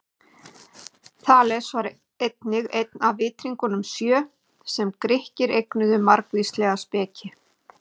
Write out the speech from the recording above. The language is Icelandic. Þales var einnig einn af vitringunum sjö, sem Grikkir eignuðu margvíslega speki.